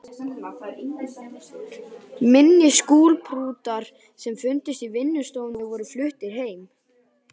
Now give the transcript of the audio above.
Minni skúlptúrar sem fundust í vinnustofunni voru fluttir heim.